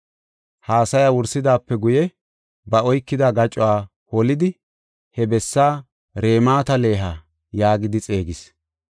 Haasaya wursidaape guye, ba oykida gacuwa holidi he bessaa Ramat-Leha yaagidi xeegis.